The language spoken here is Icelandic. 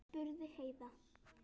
spurði Heiða.